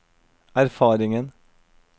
erfaringen